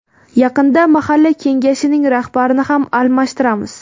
Yaqinda Mahalla kengashining rahbarini ham almashtiramiz.